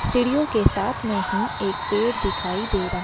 सिड़ियों के साथ में ही एक पेड़ दिखाई दे रहा--